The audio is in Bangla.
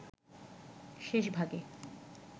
শেষ ভাগে